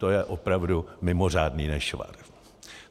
To je opravdu mimořádný nešvar.